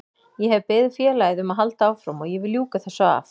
Ég hef beðið félagið um að halda áfram og ég vil ljúka þessu af.